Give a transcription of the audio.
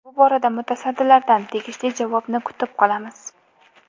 Bu borada mutasaddilardan tegishli javobni kutib qolamiz.